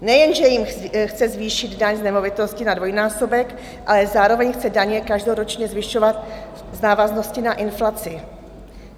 Nejenže jim chce zvýšit daň z nemovitosti na dvojnásobek, ale zároveň chce daně každoročně zvyšovat v návaznosti na inflaci.